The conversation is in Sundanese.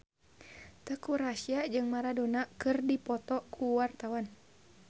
Teuku Rassya jeung Maradona keur dipoto ku wartawan